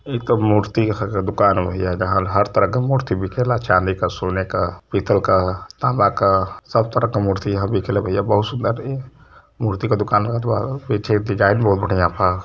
एक ते मूर्ति के दुकान बा भैया जहाँ हर तरह का मूर्त बिकेला चाँदी का सोने का पीतल का ताम्बा का सब तरह का मूर्ति यहाँ बिकेला भैया बहुत सुन्दर हैं। ये मूर्ति का दुकान लगादो आप पीछे डिजाइन बढ़िया बा।